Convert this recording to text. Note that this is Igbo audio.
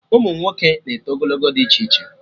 Ụmụnwoke na-eto ogologo dị iche iche